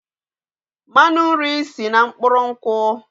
Mmanụ nri si na mkpụrụ nkwụ